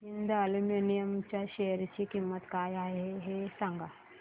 Hind aluminium च्या share ची किंमत काय आहे हे सांगा